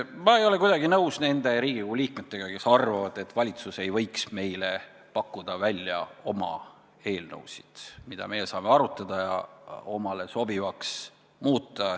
Ma ei ole kuidagi nõus nende Riigikogu liikmetega, kes arvavad, et valitsus ei võiks meile pakkuda oma eelnõusid, mida meie saame arutada ja omale sobivaks muuta.